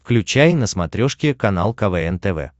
включай на смотрешке канал квн тв